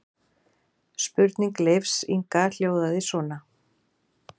Spurning Leifs Inga hljóðaði svona: